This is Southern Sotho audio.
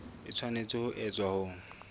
e tshwanetse ho etswa ho